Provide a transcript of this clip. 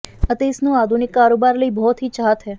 ਅਤੇ ਇਸ ਨੂੰ ਆਧੁਨਿਕ ਕਾਰੋਬਾਰ ਲਈ ਬਹੁਤ ਹੀ ਚਾਹਤ ਹੈ